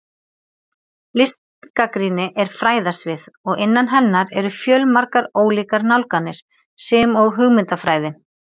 Listgagnrýni er fræðasvið og innan hennar eru fjölmargar ólíkar nálganir, sem og hugmyndafræði.